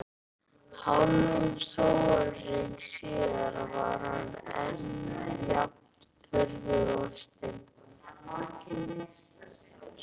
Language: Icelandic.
Hálfum sólarhring síðar var hann enn jafn furðu lostinn.